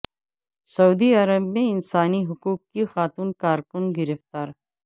سعودی عرب میں انسانی حقوق کی خاتون کارکن گرفتار